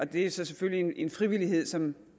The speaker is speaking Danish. det er så selvfølgelig en frivillighed som